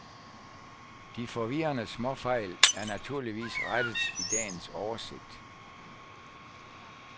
De forvirrende småfejl er naturligvis rettet i dagens oversigt.